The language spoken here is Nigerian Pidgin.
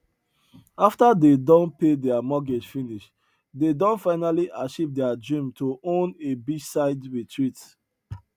after dey don pay their mortgage finish dey don finally achieve their dream to own a beachside retreat